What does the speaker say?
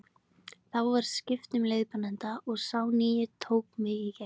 Þá var skipt um leiðbeinanda og sá nýi tók mig í gegn.